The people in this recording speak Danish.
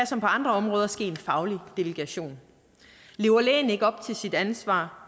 som på andre områder ske en faglig delegation lever lægen ikke op til sit ansvar